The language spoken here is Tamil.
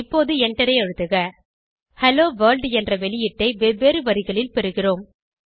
இப்போது எண்டரை அழுத்துக ஹெல்லோ வர்ல்ட் என்ற வெளியீட்டை வெவ்வேறு வரிகளில் பெறுகிறோம்